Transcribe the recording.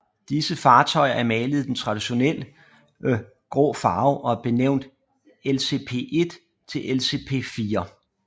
Disse fartøjer er malet i den traditionelle grå farve og er benævnt LCP1 til LCP4